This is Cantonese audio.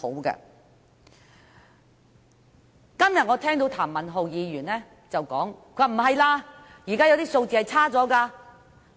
我今天聽到譚文豪議員說情況並非如此，現在有些數據顯示情況差了。